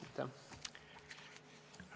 Aitäh!